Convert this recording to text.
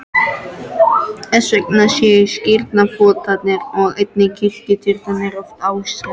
Þess vegna séu skírnarfontar og einnig kirkjuturnar oft áttstrendir.